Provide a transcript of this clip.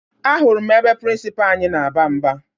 Ahụrụ m ebe prịnsịpaa anyị na-aba mba